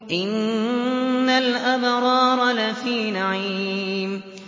إِنَّ الْأَبْرَارَ لَفِي نَعِيمٍ